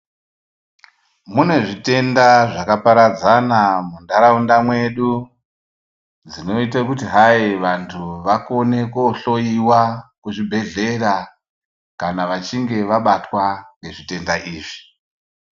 Mune zvitenda zvakaparadzana mundaraunda dzedu zvinoita hai kuti vantu vakone kohloya kuzvibhedhlera kana vachinge vabatwa nezvitenda izvi.